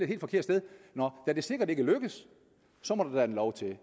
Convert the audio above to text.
helt forkert sted nå da det sikkert ikke lykkes må der en lov til i